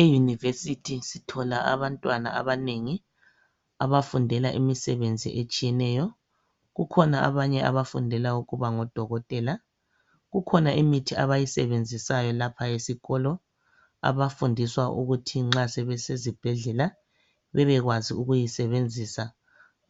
e university sithola abantwana abanengi abafundela imisebenzi etshiyeneyo kukhona abanye abafundela ukuba ngo dokotela kukhona imithi abayisebenzisayo lapha esikolo abafundiswa ukuthi nxa sebesezibhedlela bebekwazi ukuyisebenzisa